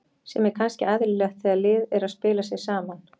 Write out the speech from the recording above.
Sem er kannski eðlilegt þegar lið er að spila sig saman.